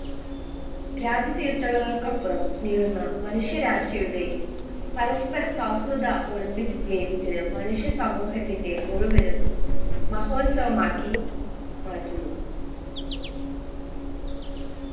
രാജ്യ അപ്പുറം മനുഷ്യരാശിയുടെ പരസ്പര സൗഹ്രദ olympicsgames ന് മനുഷ്യ സമൂഹത്തിൻറെ മുഴുവനും മഹോത്സവമാക്കി മാറ്റുന്നു